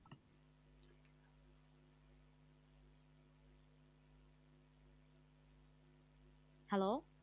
Hello